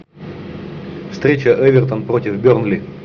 встреча эвертон против бернли